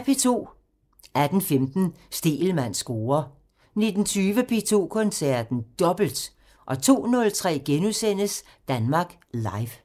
18:15: Stegelmanns score 19:20: P2 Koncerten – Dobbelt! 02:03: Danmark Live *